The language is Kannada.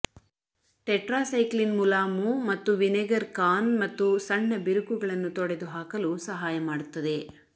ಟೆಟ್ರಾಸೈಕ್ಲಿನ್ ಮುಲಾಮು ಮತ್ತು ವಿನೆಗರ್ ಕಾರ್ನ್ ಮತ್ತು ಸಣ್ಣ ಬಿರುಕುಗಳನ್ನು ತೊಡೆದುಹಾಕಲು ಸಹಾಯ ಮಾಡುತ್ತದೆ